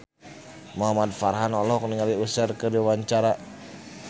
Muhamad Farhan olohok ningali Usher keur diwawancara